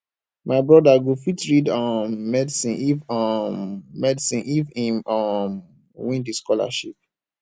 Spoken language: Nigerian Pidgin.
my broda go fit read um medicine if um medicine if im um win di scholarship